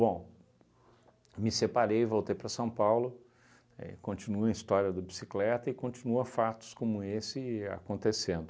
me separei, voltei para São Paulo, é continua a história do bicicleta e continua fatos como esse acontecendo.